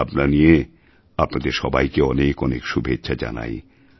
এই ভাবনা নিয়ে আপনাদের সবাইকে অনেক অনেক শুভেচ্ছা জানাই